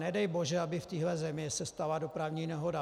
Nedej bože, aby v téhle zemi se stala dopravní nehoda.